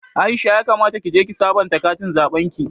Aisha ya kamata kije ki sabanta katin zaɓen ki